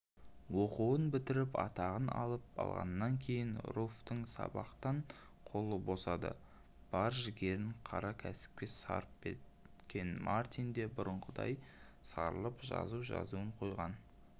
оқуын бітіріп атағын алып алғаннан кейін руфьтің сабақтан қолы босады бар жігерін қара кәсіпке сарп еткен мартин де бұрынғыдай сарылып жазу жазуын қойған